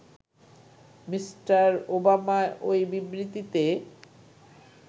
mister Obama ওই বিবৃতিতে